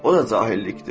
O da cahillikdir.